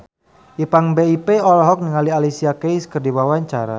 Ipank BIP olohok ningali Alicia Keys keur diwawancara